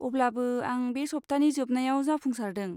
अब्लाबो, आं बे सप्तानि जोबनायाव जाफुंसारदों।